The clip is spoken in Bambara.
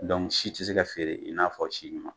si ti se ka feere i n'a fɔ si ɲuman.